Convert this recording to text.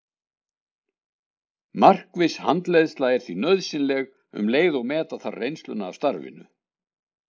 Markviss handleiðsla er því nauðsynleg um leið og meta þarf reynsluna af starfinu.